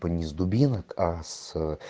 там с дубинок а с